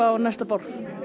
næsta borð